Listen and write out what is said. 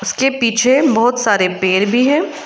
इसके पीछे बहोत सारे पेड़ भी है।